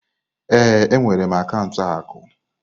Ee, enwere m akaụntụ akụ.